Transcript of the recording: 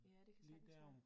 Ja det kan sagtens være